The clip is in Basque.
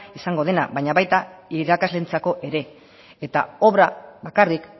izango dena baina baita irakasleentzako ere eta obra bakarrik